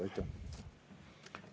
Aitäh!